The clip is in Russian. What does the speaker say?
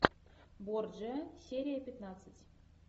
борджиа серия пятнадцать